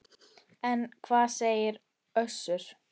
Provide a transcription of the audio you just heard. En hvað segir Össur?